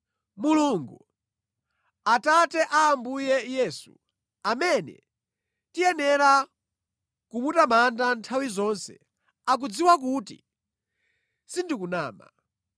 Mulungu, Atate a Ambuye Yesu, amene tiyenera kumutamanda nthawi zonse, akudziwa kuti sindikunama.